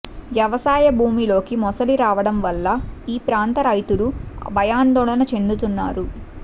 వ్యవసాయ భూమిలోకి మొసలి రావడం వల్ల ఈ ప్రాంత రైతులు భయాందోళన చెందుతున్నారు